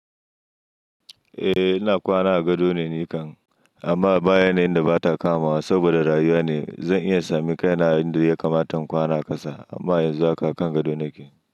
Eh ina kwana a gado ne nikan, amma baya ne inda ba ta kamawa saboda rayuwa ne. Zan iya sami kaina da ya kamata in kwana kasa amma yanzu haka kan gado nake.